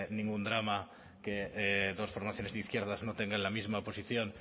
ningún drama que dos formaciones de izquierdas no tengan la misma posición